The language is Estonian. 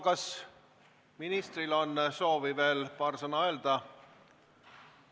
Kas ministril on soovi veel paar sõna öelda?